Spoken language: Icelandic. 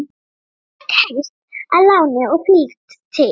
Hann fékk hest að láni og fylgd til